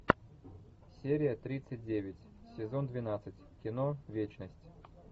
серия тридцать девять сезон двенадцать кино вечность